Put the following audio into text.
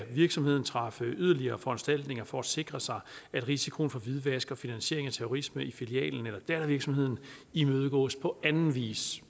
virksomheden træffe yderligere foranstaltninger for at sikre sig at risikoen for hvidvask og finansiering af terrorisme i filialen eller dattervirksomheden imødegås på anden vis